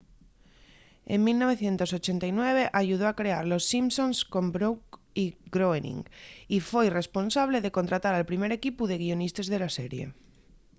en 1989 ayudó a crear los simpsons con brooks y groening y foi responsable de contratar al primer equipu de guionistes de la serie